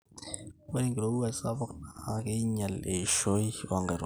ore enkirowuaj sapuk naa keinyial eishoi oonkaitubulu